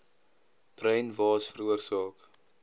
bruin waas veroorsaak